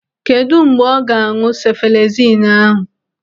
Kedụ mgbe ọ ga-an̄ụ sefalezinu ahụ?